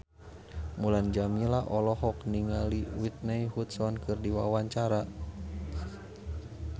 Mulan Jameela olohok ningali Whitney Houston keur diwawancara